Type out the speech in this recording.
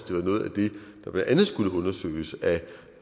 det var noget af det der blandt andet skulle undersøges af